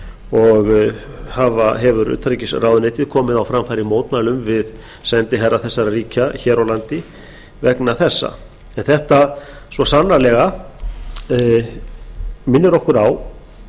og hefur utanríkisráðuneytið komið á framfæri mótmælum við sendiherra þessara ríkja hér á landi vegna þessa en þetta minnir okkur svo sannarlega á